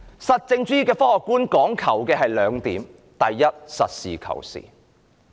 實證主義的科學觀講求兩點：第一，實事求是。